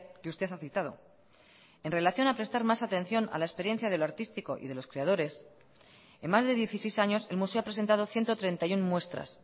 que usted ha citado en relación a prestar más atención a la experiencia de lo artístico y de los creadores en más de dieciséis años el museo ha presentado ciento treinta y uno muestras